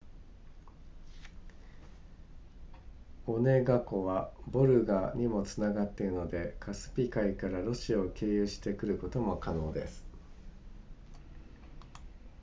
オネガ湖はヴォルガにもつながっているのでカスピ海からロシアを経由して来ることも可能です